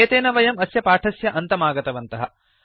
एतेन वयं अस्य पाठस्य अन्तमागतवन्तः